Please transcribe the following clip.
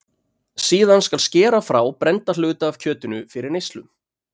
síðan skal skera frá brennda hluta af kjötinu fyrir neyslu